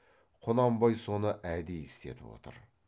құнанбай соны әдейі істетіп отыр